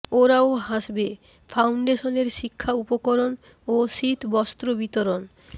ওরাও হাসবে ফাউন্ডেশনের শিক্ষা উপকরণ ও শীত বস্ত্র বিতরণ